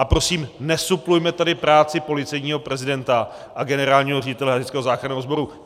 A prosím, nesuplujme tady práci policejního prezidenta a generálního ředitele Hasičského záchranného sboru.